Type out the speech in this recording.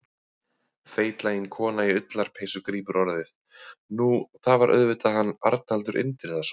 Feitlagin kona í ullarpeysu grípur orðið: Nú, það var auðvitað hann Arnaldur Indriðason.